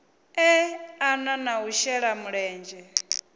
eḓana na u shela mulenzhe